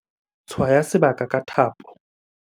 tshwaya sebaka ka thapo